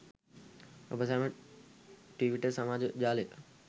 ඔබ සැම ට්විටර් සමාජ ජාලය